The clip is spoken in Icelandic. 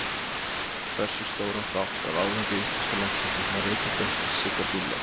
Hversu stóran þátt af árangri íslenska landsliðsins má rekja beint til Sigga Dúllu?